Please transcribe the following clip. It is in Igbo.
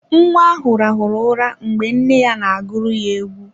Nwa ahụ rahụrụ ụra mgbe nne ya na agụrụ ya egwu.